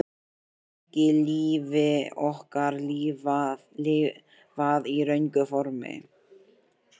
Er ekki lífi okkar lifað í röngu formi?